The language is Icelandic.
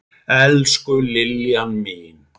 Elsku Liljan mín.